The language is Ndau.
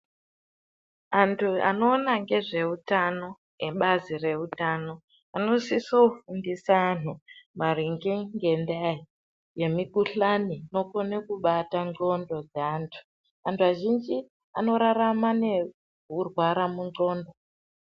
Antu anoona ngezveutano ebazi reutano vanosise kufundisa antu maringe ngendaya yemikushani inokona kunata ngxondo dzeantu. Antu azhinji anorarama nekurwara mungxondo.